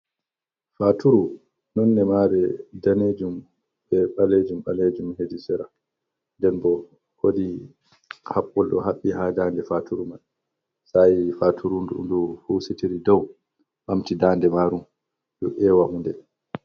Featuru nonde maaru daneejum, be ɓaleejum ɓaleejum heedi sera, nden bo woodii habbol ɗo haɓɓi haa daande faturu mai, sa'i faturu ndun ndu husitiri doo ɓamti daande maaru do e wa huunde.